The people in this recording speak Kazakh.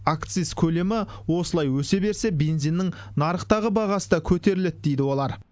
акциз көлемі осылай өсе берсе бензиннің нарықтағы бағасы да көтеріледі дейді олар